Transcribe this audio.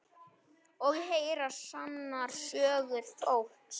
Og heyra sannar sögur fólks.